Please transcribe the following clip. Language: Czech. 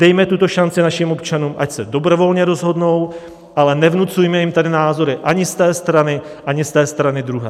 Dejme tuto šanci našim občanům, ať se dobrovolně rozhodnou, ale nevnucujme jim tady názory ani z té strany, ani z té strany druhé.